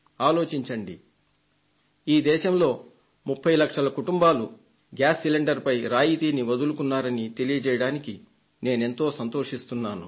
ఆలోచించండి ఈ దేశంలో 30 లక్షల కుటుంబాలు గ్యాస్ సిలిండర్ పై రాయితీని వదులుకున్నారని తెలియజేయడానికి నేనెంతో సంతోషిస్తున్నాను